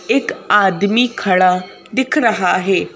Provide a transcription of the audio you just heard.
एक आदमी खड़ा दिख रहा है।